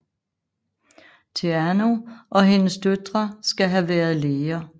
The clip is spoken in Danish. Theano og hendes døtre skal have været læger